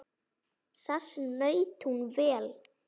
Þess naut hún vel.